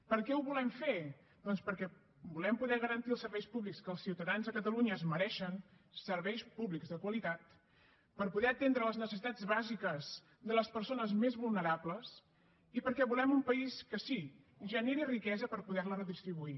per què ho volem fer doncs perquè volem poder garantir els serveis públics que els ciutadans de catalunya es mereixen serveis públics de qualitat per poder atendre les necessitats bàsiques de les persones més vulnerables i perquè volem un país que sí generi riquesa per poder la redistribuir